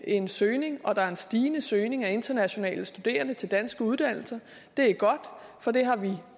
en søgning og der er en stigende søgning af internationale studerende til danske uddannelser det er godt for det har vi